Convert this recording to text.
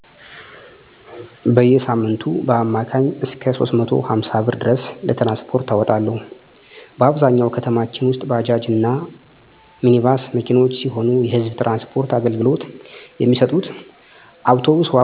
በየሳምንቱ በአማካኝ እስከ 350 ብር ድረስ ለትራንስፖርት አወጣለሁ። በአብዛኛው ከተማችን ውስጥ ባጃጅ እና ሚኒባስ መኪኖች ሲሆኑ የህዝብ ትራንስፖርት አገልግሎት የሚሰጡት ከአውቶብስ ዋጋ አንፃር ዋጋቸው ይጨምራል። የአውቶቡስ መኪኖች ቁጥርም ጥቂት በመሆኑ ለመጠቀም አስቸጋሪ ያደርገዋል። ወጪን ለመቆጠብ የተወሰነ መንገድን በእግር መሄድ በተለይ አቋራጭ መንገደኞችን በመጠቀም እንዲሁም አውቶብስ የሚገኝበትን ሰአት አውቆ በመውጣት በአውቶብስ መሄድን እንደ አማራጭ እጠቀማለሁ።